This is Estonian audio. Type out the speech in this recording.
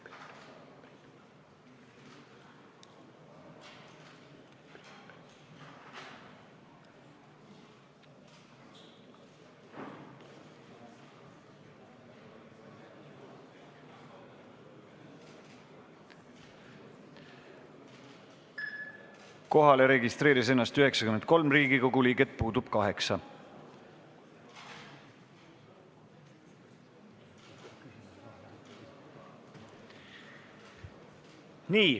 Kohaloleku kontroll Kohale registreerus 93 Riigikogu liiget, puudub 8.